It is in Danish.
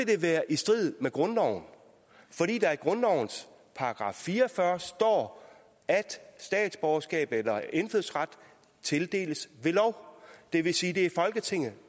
det være i strid med grundloven fordi der i grundlovens § fire og fyrre står at statsborgerskab eller indfødsret tildeles ved lov det vil sige at det er folketinget